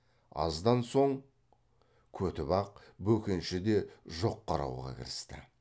аздан соң көтібақ бөкенші де жоқ қарауға кірісті